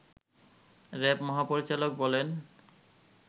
RAB মহাপরিচালক বলেন